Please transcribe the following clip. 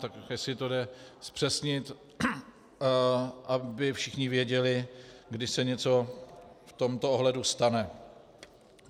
Tak jestli to jde zpřesnit, aby všichni věděli, kdy se něco v tomto ohledu stane.